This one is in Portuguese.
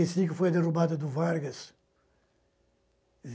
e cinco foi a derrubada do Vargas.